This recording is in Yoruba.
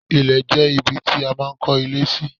Ilẹ̀ jẹ́ ibi tí a máa ń kó ilé sí.